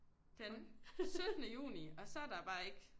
Den syttende juni og så er der bare ikke